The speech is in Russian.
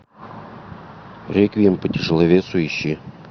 реквием по тяжеловесу ищи